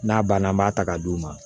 N'a banna an b'a ta ka d'u ma